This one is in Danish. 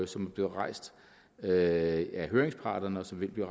som er blevet rejst af høringsparterne og som vil blive